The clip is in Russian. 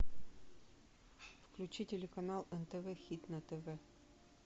включи телеканал нтв хит на тв